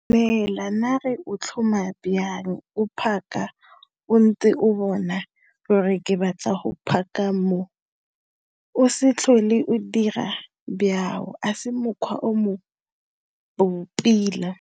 Heela! Nare o tlhoma byang, o park-a, o ntse o bona gore ke batla go park-a mo, o se tlhole o dira byao, a se mokgwa o mo bo pila.